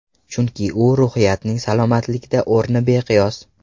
Chunki ruhiyatning salomatlikda o‘rni beqiyos.